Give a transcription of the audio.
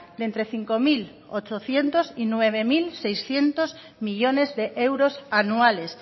de entre cinco mil ochocientos y nueve mil seiscientos millónes de euros anuales